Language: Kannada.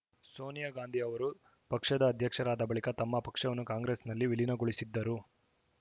ಸೋನಿಯಾಗಾಂಧಿ ಅವರು ಪಕ್ಷದ ಅಧ್ಯಕ್ಷರಾದ ಬಳಿಕ ತಮ್ಮ ಪಕ್ಷವನ್ನು ಕಾಂಗ್ರೆಸ್‌ನಲ್ಲಿ ವಿಲೀನಗೊಳಿಸಿದ್ದರು